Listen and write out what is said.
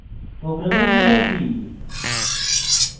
program ফিরে আসি